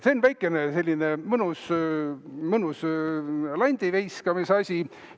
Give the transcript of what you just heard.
See on väikene selline mõnus landiviskamise asi.